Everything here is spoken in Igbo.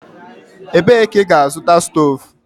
Ebee ka ị ga-azụta stovu?